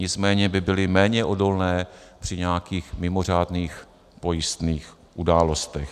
Nicméně by byly méně odolné při nějakých mimořádných pojistných událostech.